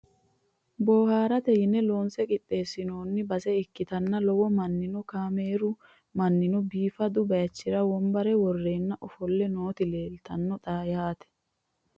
Booharatte yinne loonse qixeesinoonni baase ikkittanna lowo maninno , kaameru maninno, biiffaddu bayichira wonbarra woreenna offole nootti leelittanno xa yaatte